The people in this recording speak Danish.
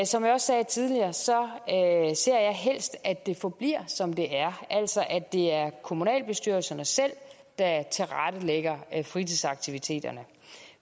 som jeg sagde tidligere ser ser jeg helst at det forbliver som det er altså at det er kommunalbestyrelserne selv der tilrettelægger fritidsaktiviteterne